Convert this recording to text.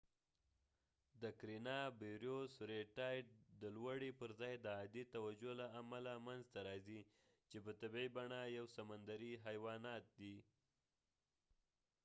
رید ټایدred tide د کرینیا بریوس karenia brevis د لوړی پر ځای د عادي توجه له امله منځ ته راځي چې په طبیعی بڼه یو سمندرې حیوانات دي